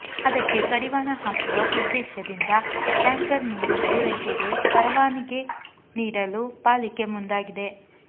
ಅದಕ್ಕೆ ಕಡಿವಾಣ ಹಾಕುವ ಉದ್ದೇಶದಿಂದ ಟ್ಯಾಂಕರ್ ನೀರು ಪೂರೈಕೆಗೆ ಪರವಾನಗಿ ನೀಡಲು ಪಾಲಿಕೆ ಮುಂದಾಗಿದೆ